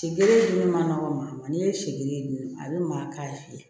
Sidi dun ma nɔgɔn n'i ye sidi ye dun a bɛ maa k'a fiyɛ